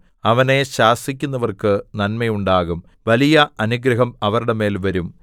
അവനെ ശാസിക്കുന്നവർക്ക് നന്മ ഉണ്ടാകും വലിയ അനുഗ്രഹം അവരുടെ മേൽ വരും